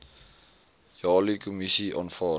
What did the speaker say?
jali kommissie aanvaar